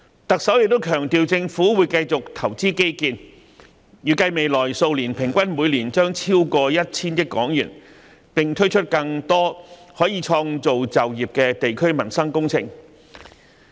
行政長官亦強調政府會繼續投資基建，預計未來數年將每年平均投資超過 1,000 億港元，並推出更多可創造就業的地區民生工程。